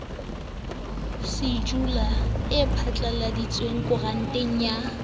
shejulu e phatlaladitsweng koranteng ya